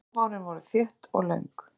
Bráhárin voru þétt og löng.